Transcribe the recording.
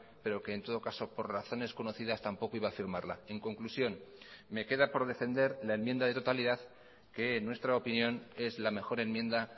pero que en todo caso por razones conocidas tampoco iba a firmarla en conclusión me queda por defender la enmienda de totalidad que en nuestra opinión es la mejor enmienda